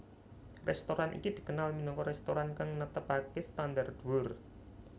Restoran iki dikenal minangka restoran kang netepake standar dhuwur